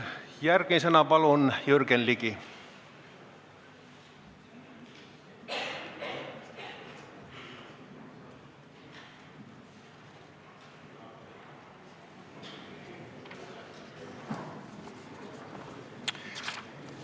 Järgmisena palun Jürgen Ligi!